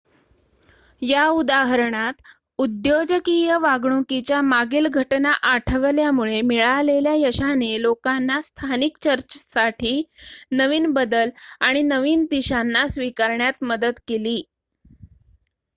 या उदाहरणात उद्योजकीय वागणुकीच्या मागील घटना आठवल्यामुळे मिळालेल्या यशाने लोकांना स्थानिक चर्चसाठी नवीन बदल आणि नवीन दिशांना स्वीकारण्यात मदत केली